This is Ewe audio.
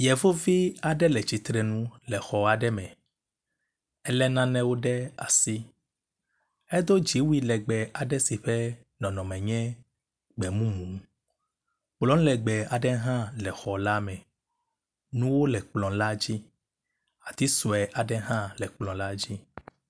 Yevuvi aɖe le tsitrenu le xɔ aɖe me ele nanewo ɖe asi. Edo dziwui aɖe si ƒe nɔnɔme nye gbemumu. Kplɔ legbe aɖe hã le xɔ ka me. Nuwo le kplɔ la dzi. Ati sue aɖe hã le kplɔ la dzi.